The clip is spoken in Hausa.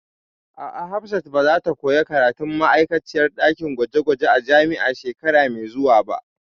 A'a, Hafsat ba zata koya karatun ma'aikaciyar ɗakin gwaje gwaje a jami'a shekara mai zuwa ba